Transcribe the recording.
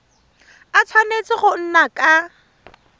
a tshwanetse go nna ka